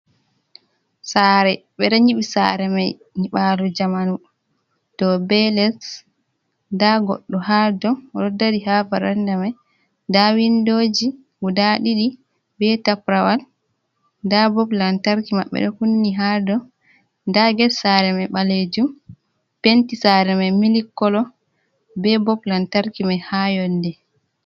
Sare ɓedo nyiɓi sare mai niɓalu jamanu ,dow be less da goɗɗo ha dow odo dari ha paranda mai da windoji guda didi be taprawal da bob lantarki mabɓe do kunni ha do da get sare mai balejum penti sare mai milikolo be bob lantarki mai ha yonde.